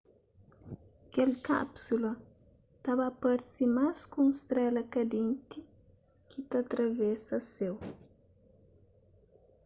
kel kápsula ta ba parse más ku un strela kandenti ki ta atravesa séu